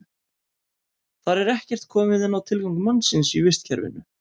Þar er ekkert komið inn á tilgang mannsins í vistkerfinu.